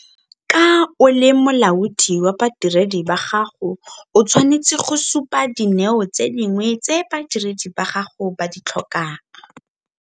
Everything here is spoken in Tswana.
Ka o le molaodi wa badiredi ba gago o tshwanetse go supa dineo tse dingwe tse badiredi ba gago ba di tlhokang.